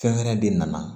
Fɛn wɛrɛ de nana